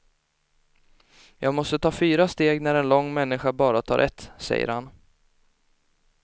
Jag måste ta fyra steg när en lång människa bara tar ett, säger han.